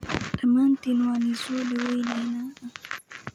Dhamaantiin waan idin soo dhawaynaynaa